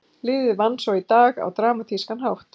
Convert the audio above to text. Liðið vann svo í dag á dramatískan hátt.